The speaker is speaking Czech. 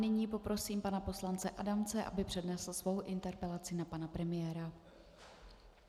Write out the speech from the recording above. Nyní poprosím pana poslance Adamce, aby přednesl svou interpelaci na pana premiéra.